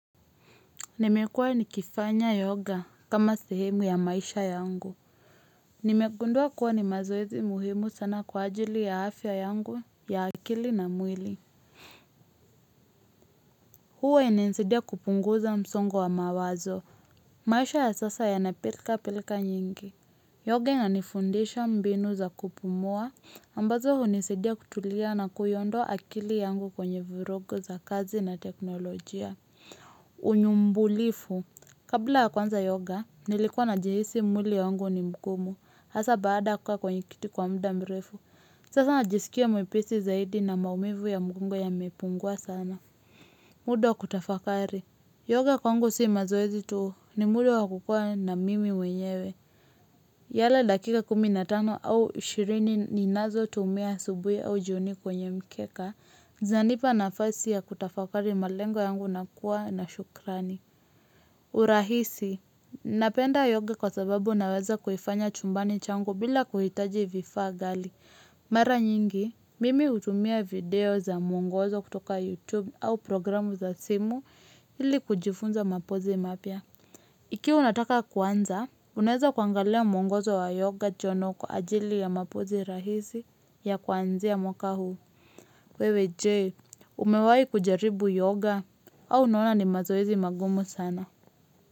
Nimekua nikifanya yoga kama sehemu ya maisha yangu. Nimegundua kuwa ni mazoezi muhimu sana kwa ajili ya afya yangu ya akili na mwili. Huwa yananisaidia kupunguza msongo wa mawazo. Maisha ya sasa yanapilka pilka nyingi. Yoga inanifundisha mbinu za kupumua. Ambazo hunisaidia kutulia na kuiondoa akili yangu kwenye virogo za kazi na teknolojia. Unyumbulifu. Kabla ya kuanza yoga, nilikuwa najihisi mwili wangu ni mgumu. Hasa baada ya kukaa kwenye kiti kwa muda mrefu. Sasa najisikia mwepesi zaidi na maumivu ya mgongo yamepungua sana. Muda wa kutafakari. Yoga kwangu si mazoezi tu ni muda wa kukua na mimi mwenyewe. Yala dakika kumi nabtano au ishirini ninazotumia asubuhi au jioni kwenye mkeka. Zanipa nafasi ya kutafakari malengo yangu na kuwa na shukrani. Urahisi. Napenda yoga kwa sababu naweza kuhifanya chumbani changu bila kuhitaji vifaa ghali. Mara nyingi, mimi hutumia video za mwongozo kutoka YouTube au programu za simu ili kujifunza mapozi mapya. Ikiwa unataka kuanza, unaweza kuangalia mwongozo wa yoga journal kwa ajili ya mapozi rahisi ya kuanzia mwaka huu. Wewe Je, umewai kujaribu yoga au unaona ni mazoezi magumu sana.